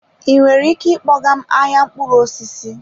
Ị nwere ike ịkpọga m ahịa mkpụrụ osisi?